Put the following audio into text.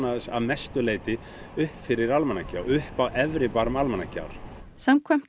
að mestu leyti upp fyrir Almannagjá upp á efri barm Almannagjár samkvæmt